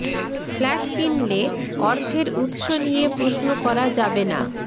flat কিনলে অর্থের উৎস নিয়ে প্রশ্ন করা যাবে না